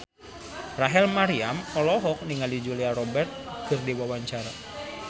Rachel Maryam olohok ningali Julia Robert keur diwawancara